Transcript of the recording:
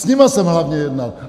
S nimi jsem hlavně jednal.